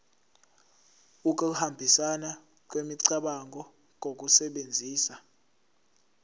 ukuhambisana kwemicabango ngokusebenzisa